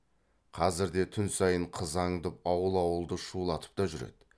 қазірде түн сайын қыз аңдып ауыл ауылды шулатып та жүреді